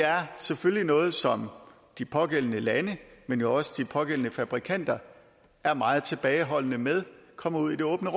er selvfølgelig noget som de pågældende lande men jo også de pågældende fabrikanter er meget tilbageholdende med kommer ud i det åbne